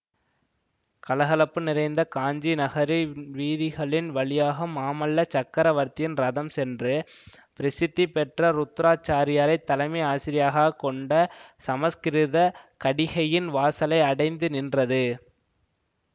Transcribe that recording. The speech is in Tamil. கலகலப்பு நிறைந்த காஞ்சி நகரின் வீதிகளின் வழியாக மாமல்ல சக்கரவர்த்தியின் ரதம் சென்று பிரசித்திபெற்ற ருத்ராச்சாரியாரைத் தலைமை ஆசிரியாகக் கொண்ட சம்ஸ்கிருத கடிகையின் வாசலை அடைந்து நின்றது